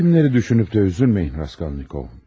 Yetimləri düşünüb də üzülməyin Raskolnikov.